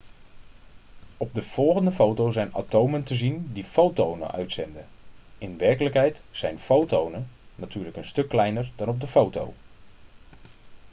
op de volgende foto zijn atomen te zien die fotonen uitzenden in werkelijkheid zijn fotonen natuurlijk een stuk kleiner dan op de foto